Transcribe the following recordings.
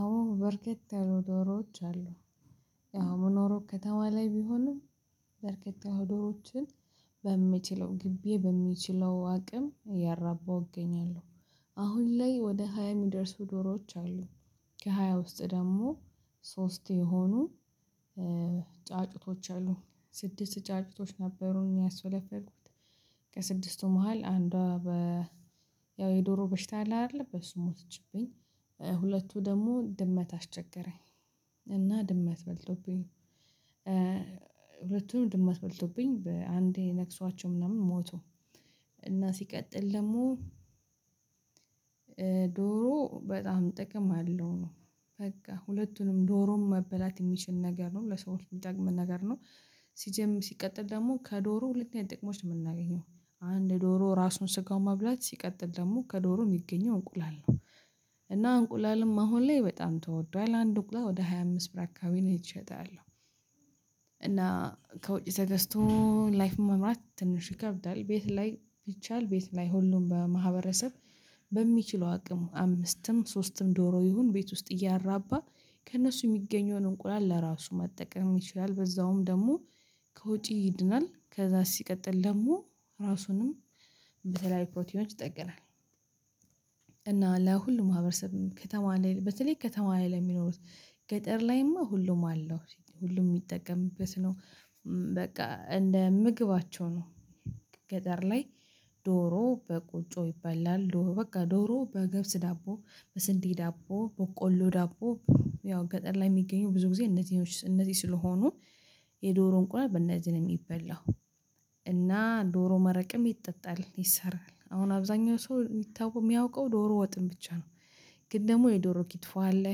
አሁን በርከት ያሉ ዶሮዎች አሉ። ያው የምኖረው ከተማ ላይ ቢሆንም በርካታ ያሉ ዶሮችን በምችለው ግቢዬ በሚችለው አቅም እያራባሁ እገኛለሁ። አሁን ላይ ወደ ሃያ የሚደርሱ ዶሮዎች አሉ። ከሃያ ውስጥ ደግሞ ሶስት የሆኑ ጫጩቶች አሉ። ስድስት ጫጩቶች ነበሩ ያስፈለፈልኩት ከስድስቱ መሃል አንዷ በ ያው የዶሮ በሽታ አለ አይደለ በሱ ሞተችብኝ። ሁለቱ ደግሞ ድመት አስቸገረኝ እና ድመት በልቶብኝ። ሁለቱንም ድመት በልቶብኝ በአንዴ ነክሷቸው ምናምን ሞቱ። እና ሲቀጥል ደግሞ- ዶሮ በጣም ጥቅም አለው። በቃ ሁለቱንም ዶሮም መበላት የሚችል ነገር ነው። ለሰዎች የሚጠቅም ነገር ነው። ሲጀምር ሲቀጥል ደግሞ ከዶሮ ሁለት አይነት የጥቅሞች ነው የምናገኘው። አንድ ዶሮ ራሱን ስጋውን መብላት ሲቀጥል ደግሞ ከዶሮ የሚገኘው እንቁላል ነው። እና እንቁላልም አሁን ላይ በጣም ተወዷል። አንድ እንቁላል ወደ ሃያ አምስት ብር አካባቢ ነው እየተሸጠ ያለው። እና- ከውጪ ተገዝቶ ላይፍ መምራት ትንሽ ይከብዳል። ቤት ላይ ቢቻል ቤት ላይ ሁሉም በማህበረሰብ በሚችለው አቅም አምስትም ሶስትም ዶሮ ይሁን ቤት ውስጥ እያራባ- ከእነሱ የሚገኘውን እንቁላል ለራሱ መጠቀም ይችላል። በዛውም ደግሞ ከወጪ ይድናል። ከዛስ ሲቀጥል ደግሞ ራሱንም በተለያዩ ፕሮቲኖች ይጠግናል። እና ለሁሉም ማህበረሰብ ከተማ ላይ በተለይ ከተማ ላይ ላይ ለሚኖሩት ገጠር ላይማ ሁሉም አለው። ሁሉም የሚጠቀምበት ነው። በቃ እንደ ምግባቸው ነው። ገጠር ላይ ዶሮ በቆጮ ይበላል። ዶሮ በቃ ዶሮ በግብስ ዳቦ በስንዴ ዳቦ በቆሎ ዳቦ- ያው ገጠር ላይ የሚገኘው ብዙ ጊዜ እነዚህ እነዚህ ስለሆኑ የዶሮ እንቁላል በእነዚህ ነው የሚበላው። እና ዶሮ መረቅም ይጠጣል። ይሰራል። አሁን አብዛኛው ሰው የሚታወቀው የሚያውቀው ዶሮ ወጥን ብቻ ነው። ግን ደግሞ የዶሮ ኪትፎ አለ።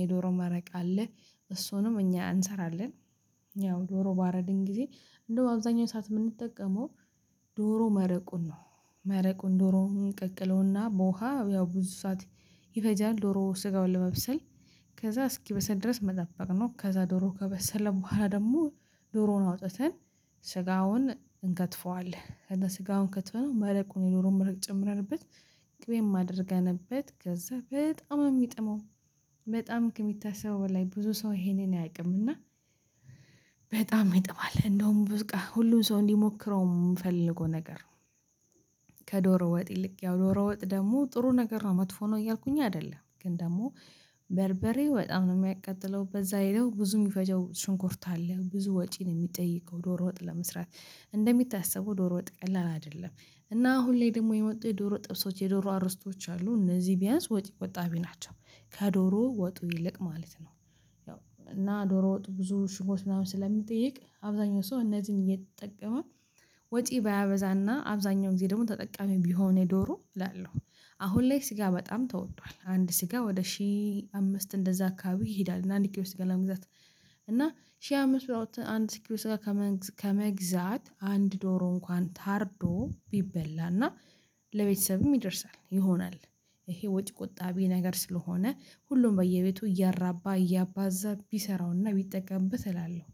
የዶሮ መረቅ አለ። እሱንም እኛ እንሰራለን። ያው ዶሮ ባረድን ጊዜ እንደው አብዛኛው ሰዓት የምንጠቀመው ዶሮ መረቁን ነው። መረቁን ዶሮ እንቀቅለውና በውሃ ያው ብዙ ሰዓት ይፈጃል ዶሮ ስጋውን ለመብሰል- ከዛ እስኪበሰል ድረስ መጠበቅ ነው። ከዛ ዶሮ ከበሰለ በኋላ ደግሞ- ዶሮውን አውጥተን ስጋውን እንከትፈዋለን። ከዛ ስጋውን ከትፈነው መረቁን የኖረውን መረቅ ጨምረንበት ቅቤም አደርገንበት ከዛ በጣም የሚጥመው በጣም ከሚታሰበው በላይ ብዙ ሰው ይሄንን አያቅም። እና- በጣም ይጥማል። እንደውም ብዙ ቀን ሁሉም ሰው እንዲሞክረው የምፈልገው ነገር ነው። ከዶሮ ወጥ ይልቅ ያው ዶሮ ወጥ ደግሞ ጥሩ ነገር ነው። መጥፎ ነው እያልኩኝ አይደለም። ግን ደግሞ- በርበሬው በጣም ነው የሚያቀጥለው። በዛ ላይ ብዙ የሚፈጀው ሽንኩርት አለ። ብዙ ወጪ ነው የሚጠይቀው ዶሮ ወጥ ለመስራት እንደሚታሰበው ዶሮ ወጥ ቀላል አይደለም። እና አሁን ላይ ደግሞ የመጡ የዶሮ ጥብሶች የዶሮ አርስቶች አሉ። እነዚህ ቢያንስ ወጪ ቆጣቢ ናቸው። ከዶሮ ወጡ ይልቅ ማለት ነው። እና ዶሮ ወጡ ብዙ ሽንኩርት ምናምን ስለሚጠይቅ አብዛኛው ሰው እነዚህን እየተጠቀመ- ወጪ ባያበዛና አብዛኛው ጊዜ ደግሞ ተጠቃሚ ቢሆን የዶሮ እላለሁ። አሁን ላይ ስጋ በጣም ተወዶአል። አንድ ስጋ ወደ ሺህ አምስት እንደዛ አካባቢ ይሄዳል። እና አንድ ኪሎ ስጋ ለመግዛት። እና ሺህ አምስት መቶ አንድ ኪሎ ስጋ ከመግዛት አንድ ዶሮ እንኳን ታርዶ ቢበላ እና- ለቤተሰብም ይደርሳል። ይሆናል። ይሄ ወጪ ቆጣቢ ነገር ስለሆነ ሁሉም በየቤቱ እያራባ እያባዛ ቢሰራውና ቢጠቀምበት እላለሁ።